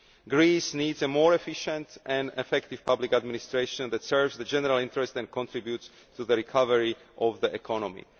Greece needs a more efficient and effective public administration that serves the general interest and contributes to the recovery of the economy.